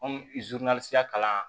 kalan